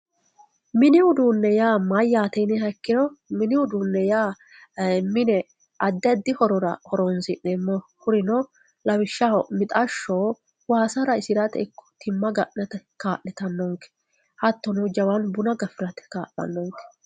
Minni udune ya mayate yiniha ikiro minni udune ya mine addi addi horora horonsinemohi kurino lawishahi mixashoo wassa raisiratte iko timma ganatte kalitanonke hatono jawannu bunna gafiratte kalanonke